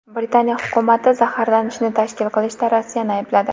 Britaniya hukumati zaharlashni tashkil qilishda Rossiyani aybladi.